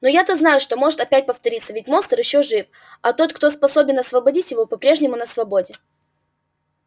но я-то знаю это может опять повториться ведь монстр ещё жив а тот кто способен освободить его по-прежнему на свободе